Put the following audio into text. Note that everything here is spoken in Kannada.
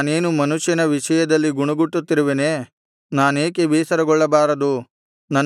ನಾನೇನು ಮನುಷ್ಯನ ವಿಷಯದಲ್ಲಿ ಗುಣುಗುಟ್ಟುತ್ತಿರುವೆನೆ ನಾನೇಕೆ ಬೇಸರಗೊಳ್ಳಬಾರದು